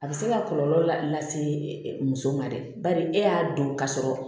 A bɛ se ka kɔlɔlɔ lase muso ma dɛ bari e y'a don ka sɔrɔ